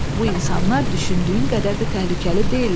Bu insanlar düşündüyün qədər də təhlükəli deyillər.